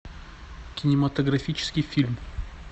кинематографический фильм